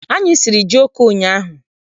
Anyị siri jioko ụnyaahụ.